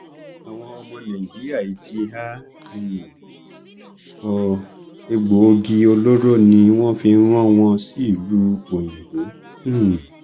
àwọn ọmọ nàìjíríà yìí ti há um ọ egbòogi olóró ni wọn fi rán wọn sílùú òyìnbó um